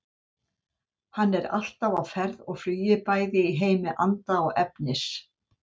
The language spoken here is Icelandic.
Hann er alltaf á ferð og flugi bæði í heimi anda og efnis.